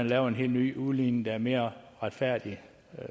lavet en helt ny udligning der er mere retfærdig